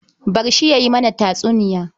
Bar shi ya yi mana tatsuniya.